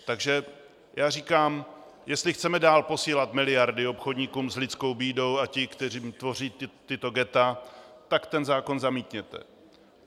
Takže já říkám, jestli chceme dál posílat miliardy obchodníkům s lidskou bídou a těm, kteří tvoří tato ghetta, tak ten zákon zamítněte!